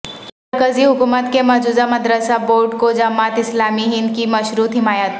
مرکزی حکومت کے مجوزہ مدرسہ بورڈ کو جماعت اسلامی ہند کی مشروط حمایت